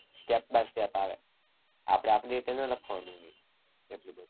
step by step આવે. આપણે આપણી રીતે ન લખવાનું હોય.